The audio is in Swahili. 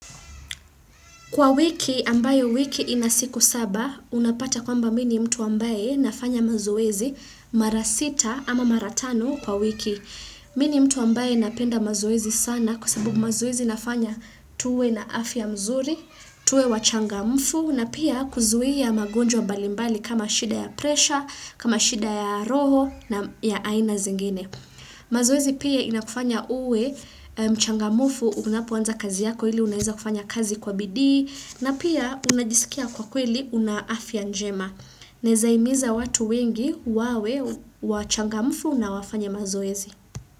Kwa wiki, ambayo wiki ina siku saba, unapata kwamba mimi ni mtu ambaye nafanya mazoezi mara sita ama mara tano kwa wiki. Mimi ni mtu ambaye napenda mazoezi sana kwasabu mazoezi inafanya tuwe na afya mzuri, tuwe wachangamufu na pia kuzuia magonjwa mbalimbali kama shida ya presha, kama shida ya roho na ya aina zingine. Mazoezi pia inakufanya uwe mchangamufu unapoanza kazi yako ili unaeza kufanya kazi kwa bidi na pia unajisikia kwa kweli una afia njema neeza himiza watu wengi wawe wachangamufu unawafanya mazoezi.